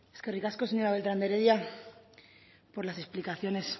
eskerrik asko señora beltrán de heredia por las explicaciones